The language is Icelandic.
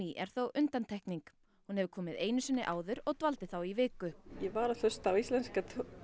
er þó undantekning hún hefur komið einu sinni áður og dvaldi þá í viku ég var að hlusta á íslenska